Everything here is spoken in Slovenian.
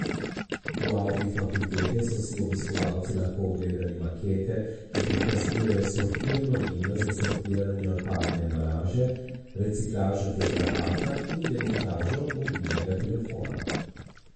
V avli fakultete so si obiskovalci lahko ogledali makete, ki prikazujejo sortirno linijo za sortiranje odpadne embalaže, reciklažo tetrapaka in demontažo mobilnega telefona.